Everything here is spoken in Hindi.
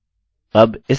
अतः counttxt